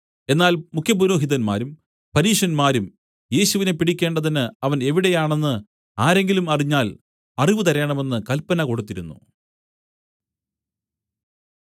എന്നാൽ മുഖ്യപുരോഹിതന്മാരും പരീശന്മാരും യേശുവിനെ പിടിക്കേണ്ടതിന് അവൻ എവിടെയാണെന്ന് ആരെങ്കിലും അറിഞ്ഞാൽ അറിവു തരേണമെന്ന് കല്പന കൊടുത്തിരുന്നു